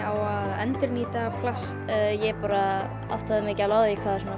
á að endurnýta plast ég bara áttaði mig ekki á því hvað